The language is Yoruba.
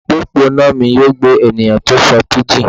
Opopona mi yoo gbe eniyan ti o sọ pidgin